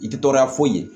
I tɛ tɔɔrɔya foyi ye